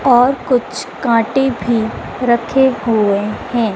और कुछ कांटे भी रखे हुए हैं।